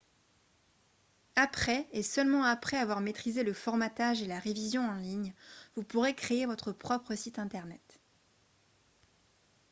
après et seulement après avoir maîtrisé le formatage et la révision en ligne vous pourrez créer votre propre site internet